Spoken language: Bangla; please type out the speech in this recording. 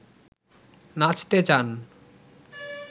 নাচতে চান